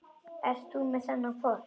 Ert þú með þennan hvolp?